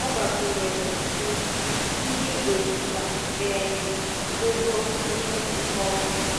Ọ gbàkwunyèrè, sị: “Ndị Ìgbò jìkwa um ụgwọ inye m nkọwa.”